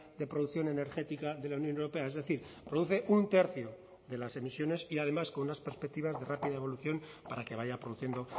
de producción energética de la unión europea es decir produce un tercio de las emisiones y además con unas perspectivas de rápida evolución para que vaya produciendo